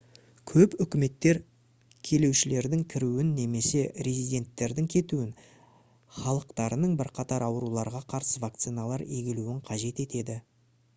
көп үкіметтер келушілердің кіруін немесе резиденттердің кетуін халықтарының бірқатар ауруларға қарсы вакциналар егілуін қажет етеді